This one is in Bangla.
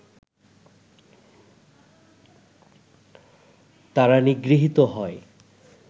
তারা নিগৃহীত হয়